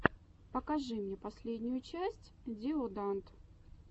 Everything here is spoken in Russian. покажи мне последнюю часть диоданд